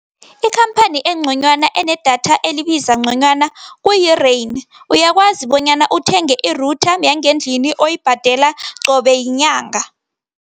Ikhamphani engconywana enedatha elibiza ngconywana ku-Rain. Uyakwazi bonyana uthenge i-router yangendlini, oyibhadela qobe yinyanga.